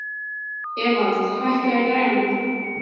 Evald, hækkaðu í græjunum.